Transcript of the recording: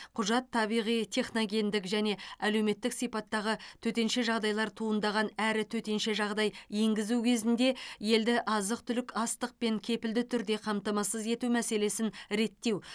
құжат табиғи техногендік және әлеуметтік сипаттағы төтенше жағдайлар туындаған әрі төтенше жағдай енгізу кезінде елді азық түлік астықпен кепілді түрде қамтамасыз ету мәселесін реттеу